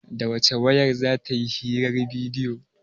Da wace wayar za ta yi hirar bidiyo?